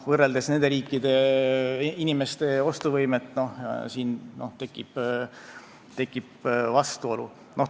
Võrreldes nende riikide inimeste ostuvõimet tekib siin vastuolu.